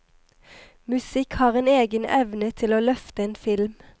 Musikk har en egen evne til å løfte en film.